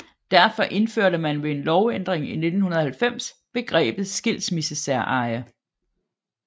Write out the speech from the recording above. Derfor indførte man ved en lovændring i 1990 begrebet skilsmissesæreje